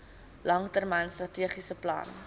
langtermyn strategiese plan